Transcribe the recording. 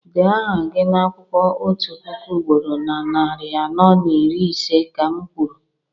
dee aha gị n'akwụkwọ otu puku ugboro na narị anọ na iri ise, ka m kwuru!